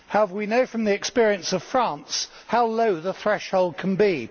We know from the experience of France how low the threshold can be.